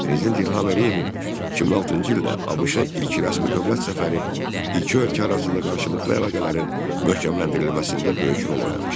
Prezident İlham Əliyevin 2006-cı ildə ABŞ-a ilk rəsmi dövlət səfəri iki ölkə arasında qarşılıqlı əlaqələrin möhkəmləndirilməsində böyük rol oynamışdır.